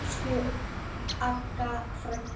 Þetta var lífið.